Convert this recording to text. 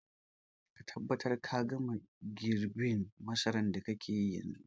Ka tabbatar ka gama girbin masarar da kake yi yanzun.